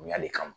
Bonya le kama